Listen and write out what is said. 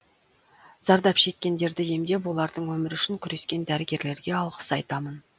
зардап шеккендерді емдеп олардың өмірі үшін күрскен дәрігерлерге алғыс айтамын